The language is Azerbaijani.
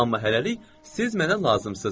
Amma hələlik siz mənə lazımsız.